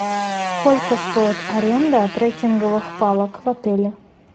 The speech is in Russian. сколько стоит аренда трекинговых палок в отеле